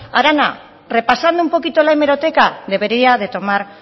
arana repasando un poquito la hemeroteca debería de tomar